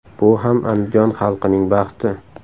Bu ham Andijon xalqining baxti.